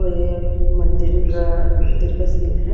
ये मंदिर का मंदिर का सीन है।